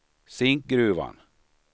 Zinkgruvan